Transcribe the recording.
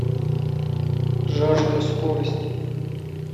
жажда скорости